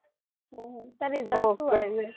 result શું આવ્યું એમ?